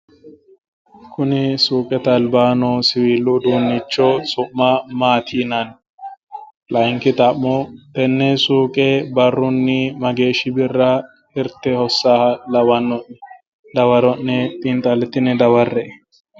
Kuni suuqete albaa noo siwiilu uduunnicho su'ma maati yinanni? Layinkki xa'mo tenne suuqe barrunni mageeshshi birra hirte hossannoha lawa'none? Dawaro'ne xiinxallitine dawarre"e.